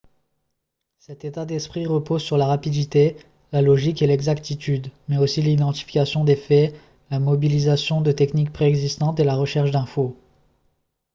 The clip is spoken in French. cet état d'esprit repose sur la rapidité la logique et l'exactitude mais aussi l'identification des faits la mobilisation de techniques pré-existantes et la recherche d'infos